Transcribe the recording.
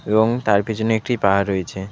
এবং তার পিছনে একটি পাহাড় রয়েছে .